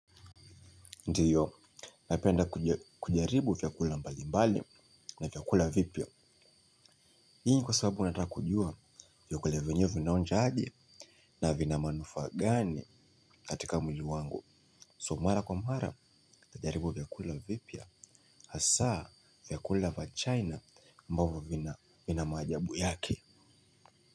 Ndiyo, napenda kujaribu vyakula mbalimbali na vyakula vipya. Hii ni kwa sababu nataka kujua, vyakula vyenyewe vinaonja aje na vina manufaa gani katika mwili wangu So mara kwa mara, najaribu vyakula vipya, hasa vyakula vya china ambavyo vina maajabu yake.